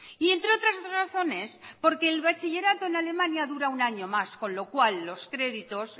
y entre otras razones porque el bachillerato en alemania dura un año más con lo cual los créditos